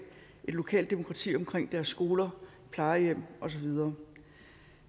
lokalt demokrati omkring deres skoler plejehjem og så videre